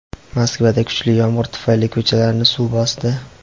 Moskvada kuchli yomg‘ir tufayli ko‘chalarni suv bosdi.